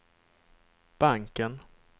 banken